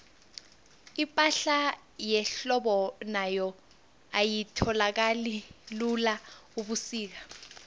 ipahla yehlobo nayo ayitholakali lula ubusika